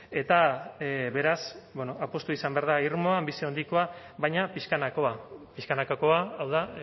eta beraz bueno apustua izan behar da irmoa bizi handikoa baina pixkanakoa pixkanakakoa hau da